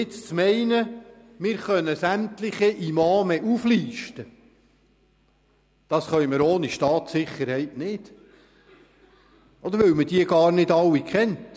Jetzt zu meinen, wir könnten sämtliche Imame auflisten, ist ohne Staatssicherheit nicht möglich, weil man die Imame gar nicht alle kennt.